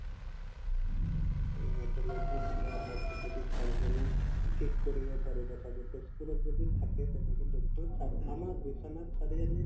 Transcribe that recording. rheumatologist বা orthopedist surgeon য়ে ঠিক কৰিব পাৰিব ছাগে তেজপুৰত যদি থাকে তেনেকে doctor আমাৰ বিশ্বনাথ চাৰিআলিত